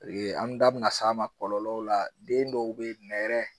O ye an ye an da bi na s'a ma kɔlɔlɔw la den dɔw be ye nɛrɛ